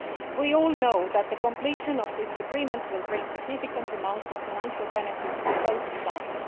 We all know that completion of this agreement will bring significant financial benefits to both sides.